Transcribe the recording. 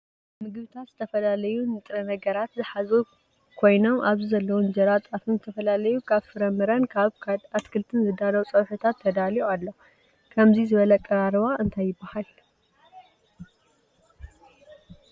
ምግብታት ዝተፈላለዩ ንጥረ ነገራት ዝሓዙ ኮይኖምኣብዚ ዘለውም እንጀራ ጣፍን ዝተፈላለዩ ካብ ፍረምረን ካብ ኣትክልት ዝዳለው ፀብሒታት ተዳልዩ ኣሎ። ከምዙይ ዝበለ ኣቀራርባ እንታይ ይበሃል ?